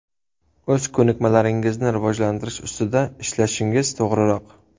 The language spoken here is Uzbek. O‘z ko‘nikmalaringizni rivojlantirish ustida ishlashingiz to‘g‘riroq.